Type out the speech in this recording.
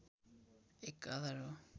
एक आधार हो